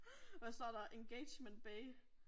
Hvad står der engagement bay?